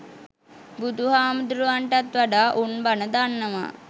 බුදු හාමුදුරුවන්ටත් වඩා උන් බණ දන්නවා